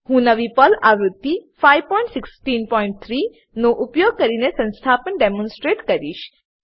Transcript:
હું નવી પર્લ આવૃત્તિ 5163 નો ઉપયોગ કરીને સંસ્થાપન ડેમોનસ્ટ્રેટ કરીશ